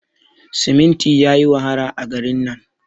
siminti yayi wahala a garin nan